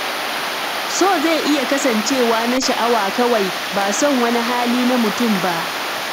So zai iya kasancewa na sha'awa kawai, ba son wani hali na mutum ba.